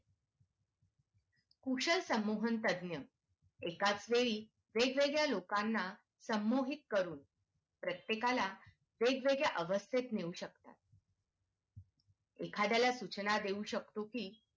कुशार समूह तज्ञ् एकाच वेळी वेगवेगळ्या लोकांना संमोहित करून प्रत्येका ला वेगवेगळ्या अवस्थेत नेऊ शकतो एखाद्या ला सूचना देऊ शकतो कि